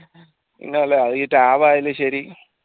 പിന്നെ അത് ഈ tab ആയാലും ശരി